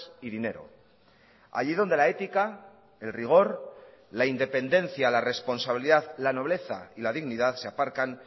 y dinero allí donde la ética el rigor la independencia la responsabilidad la nobleza y la dignidad se aparcan